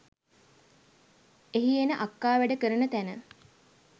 එහි එන අක්කා වැඩ කරන තැන